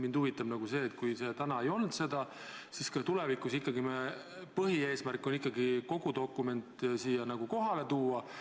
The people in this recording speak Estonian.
Mind huvitab see, et kui täna seda ei olnud, siis kas tulevikus ikkagi põhieesmärk on kogu dokument siia kohale tuua.